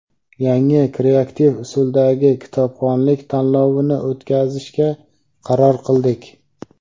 yangi kreativ usuldagi kitobxonlik tanlovini o‘tkazishga qaror qildik.